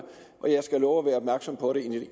og jeg skal love at være opmærksom på det